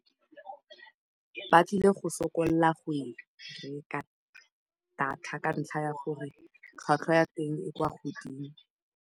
Ba tlile go sokola go e reka data ka ntlha ya gore tlhwatlhwa ya teng e kwa godimo.